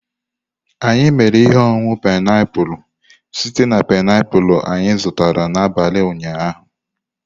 Anyị mere ihe ọṅụṅụ painiapulu site na painiapulu anyị zụtara n'abalị ụnyaahụ.